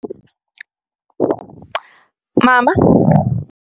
Mama.